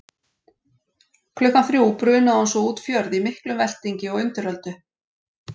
Klukkan þrjú brunaði hún svo út fjörð í miklum veltingi og undiröldu.